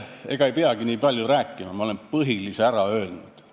Ega ei peagi nii palju rääkima, olen põhilise ära öelnud.